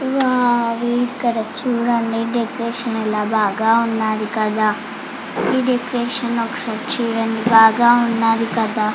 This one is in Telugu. వావ్ ఇక్కడ చూడ చుడండి డెకరేషన్ చాల బాగా ఉన్నదీ కదా ఈ డెకరేషన్ ఒక సారి చుడండి బాగా ఉన్నదీ కదా--